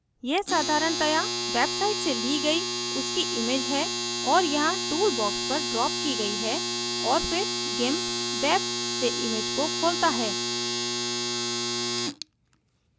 यह साधारणतया website से ली गई उसकी image है और यहाँ tool box पर ड्राप की गई है और फिर gimp web से image को खोलता है